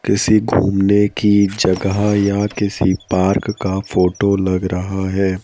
किसी घूमने की जगह या किसी पार्क का फोटो लग रहा है।